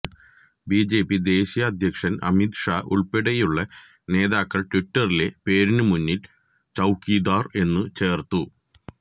BJP ദേശീയ അധ്യക്ഷൻ അമിത് ഷാ ഉൾപ്പെടെയുള്ള നേതാക്കള് ട്വിറ്ററിലെ പേരിനുമുന്നിൽ ചൌക്കിദാർ എന്നു ചേർത്തു